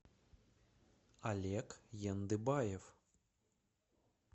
олег яндыбаев